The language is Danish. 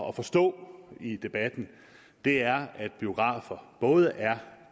at forstå i debatten er at biografer både er